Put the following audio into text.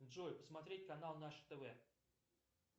джой посмотреть канал наше тв